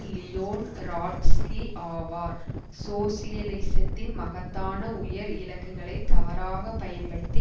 Leon Trotsky ஆவார் சோசியலிசத்தின் மகத்தான உயர் இலக்குகளை தவறாக பயன்படுத்தி